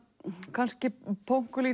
kannski